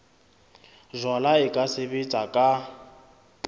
jalwa e ka sebetswa ka